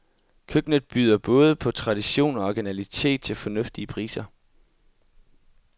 Køkkenet byder både på tradition og originalitet til fornuftige priser.